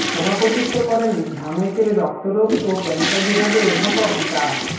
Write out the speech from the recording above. সভাপতিত্ব করেন ঢামেকের রক্তরোগ ও ক্যানসার বিভাগের অধ্যাপক ডা